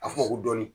A fɔ ko dɔɔnin